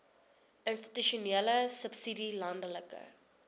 institusionele subsidie landelike